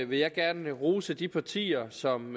vil jeg gerne rose de partier som